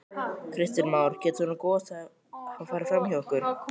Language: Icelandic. Kristján Már: Getur svona gos hafa farið fram hjá okkur?